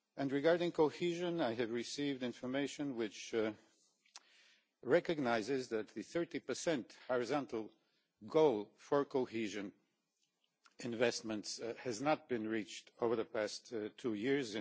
Regarding cohesion, I have received information which recognises that the 30 horizontal goal for cohesion investments has not been reached over the past two years.